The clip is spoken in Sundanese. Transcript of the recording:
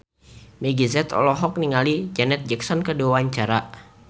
Meggie Z olohok ningali Janet Jackson keur diwawancara